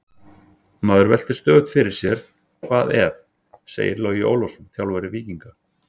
Maður veltir stöðugt fyrir sér: Hvað ef? segir Logi Ólafsson, þjálfari Víkinga.